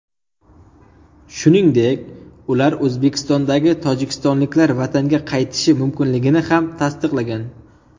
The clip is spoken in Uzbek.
Shuningdek, ular O‘zbekistondagi tojikistonliklar vatanga qaytishi mumkinligini ham tasdiqlagan.